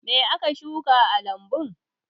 Me aka shuka a lambun?